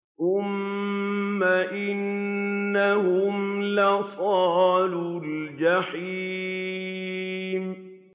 ثُمَّ إِنَّهُمْ لَصَالُو الْجَحِيمِ